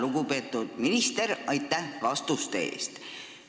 Lugupeetud minister, aitäh vastuste eest!